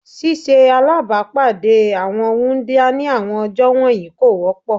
Ṣíṣe alábàpáàdé àwọn wúńdíá ní àwọn ọjọ́ wọ̀nyí kò wọ́pọ̀